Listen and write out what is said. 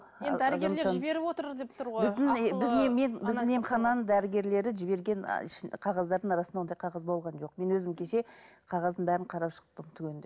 біздің емхананың дәрігерлері жіберген қағаздардың арасында ондай қағаз болған жоқ мен өзім кеше қағаздың бәрін қарап шықтым түгендеп